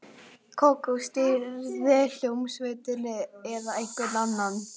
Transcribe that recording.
Kókó stýrði hljómsveitinni eða einhver annar.